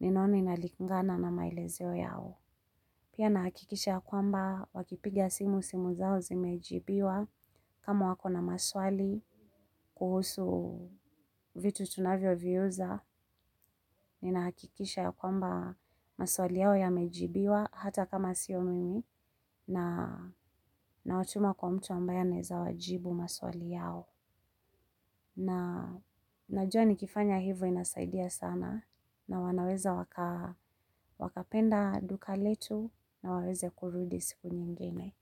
ninaona ina likungana na maelezeo yao. Pia nahakikisha ya kwamba wakipiga simu simu zao zimejibiwa kama wako na maswali kuhusu vitu tunavyo viuza. Ninahakikisha ya kwamba maswali yao yamejibiwa hata kama sio mimi nawatuma kwa mtu ambaya anaeza wajibu maswali yao. Na najua nikifanya hivo inasaidia sana na wanaweza wakapenda duka letu na waweze kurudi siku nyingene.